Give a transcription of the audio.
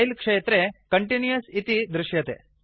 style क्षेत्रे continuous इति दृश्यते